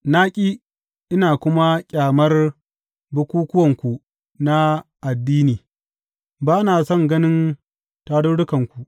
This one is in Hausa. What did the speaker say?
Na ƙi, ina kuma ƙyamar bukukkuwanku na addini; ba na son ganin tarurrukanku.